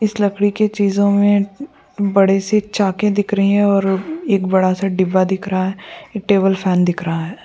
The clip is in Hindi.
इस लड़कि के चीज़े मे बड़ेसी चाके दिख रहे है और एक बड़ा सा डिब्बा दिख रहा है एक टेबल फॅन दिख रहा है।